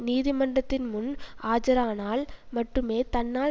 நீதிமன்றத்தின் முன் ஆஜரானால் மட்டுமே தன்னால்